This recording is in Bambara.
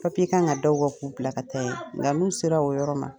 kan ka d'aw kan k'u bila ka taa yen, nka n'u sera o yɔrɔ la